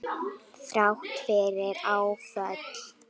Þrátt fyrir áföll.